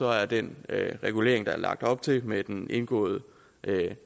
at den regulering der er lagt op til med den indgåede